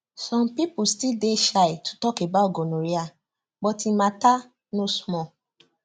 some people still dey shy to talk about gonorrhea but e matter no small